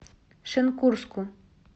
шенкурску